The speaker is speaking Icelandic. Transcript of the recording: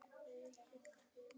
Dagmar Helga.